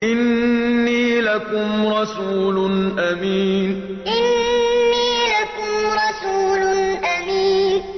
إِنِّي لَكُمْ رَسُولٌ أَمِينٌ إِنِّي لَكُمْ رَسُولٌ أَمِينٌ